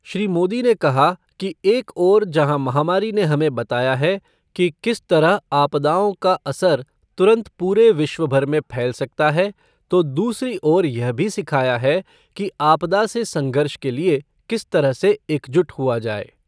श्री मोदी ने कहा कि एक ओर जहाँ महामारी ने हमें बताया है कि किस तरह आपदाओं का असर तुरंत पूरे विश्व भर में फैल सकता है, तो दूसरी ओर यह भी सिखाया है कि आपदा से संघर्ष के लिए किस तरह से एकजुट हुआ जाए।